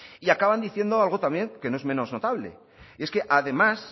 y acaban diciendo algo también que no es menos notable y es que además